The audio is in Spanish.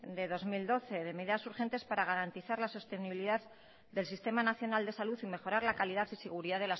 de dos mil doce de medidas urgentes para garantizar la sostenibilidad del sistema nacional de salud y mejorar la calidad y seguridad